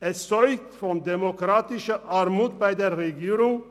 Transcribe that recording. Es zeugt von demokratiepolitischer Armut seitens der Berner Regierung.